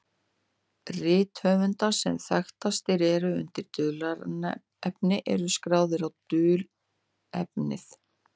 Rit höfunda sem þekktastir eru undir dulnefni eru skráð á dulnefnið.